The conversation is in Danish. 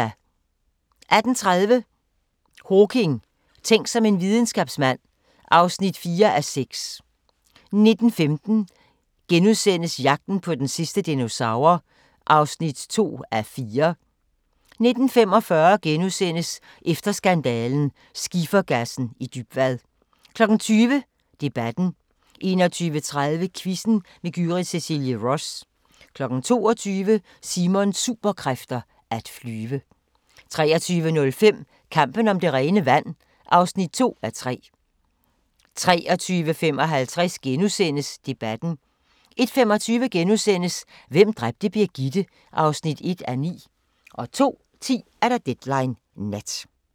18:30: Hawking: Tænk som en videnskabsmand (4:6) 19:15: Jagten på den sidste dinosaur (2:4)* 19:45: Efter skandalen – Skifergassen i Dybvad * 20:00: Debatten 21:30: Quizzen med Gyrith Cecilie Ross 22:00: Simons Superkræfter: At flyve 23:05: Kampen om det rene vand (2:3) 23:55: Debatten * 01:25: Hvem dræbte Birgitte? (1:9)* 02:10: Deadline Nat